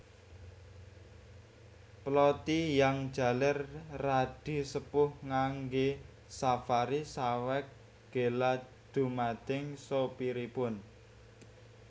PlotTiyang jaler radi sepuh nganggé safari saweg gela dhumateng sopiripun